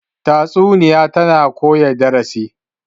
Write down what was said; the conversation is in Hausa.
tatsuniya tana koya darasi